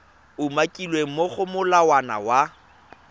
umakilweng mo go molawana wa